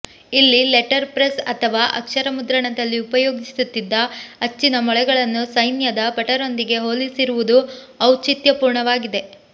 ಇಲ್ಲಿ letter press ಅಥವಾ ಅಕ್ಷರ ಮುದ್ರಣದಲ್ಲಿ ಉಪಯೋಗಿಸುತ್ತಿದ್ದ ಅಚ್ಚಿನ ಮೊಳೆಗಳನ್ನು ಸೈನ್ಯದ ಭಟರೊಂದಿಗೆ ಹೋಲಿಸಿರುವುದು ಔಚಿತ್ಯಪೂರ್ಣವಾಗಿದೆ